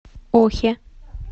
охе